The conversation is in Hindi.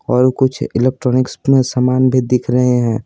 और कुछ इलेक्ट्रॉनिक्स में सामान भी दिख रहे हैं।